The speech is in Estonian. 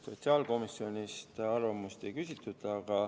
Sotsiaalkomisjonilt arvamust ei küsitud.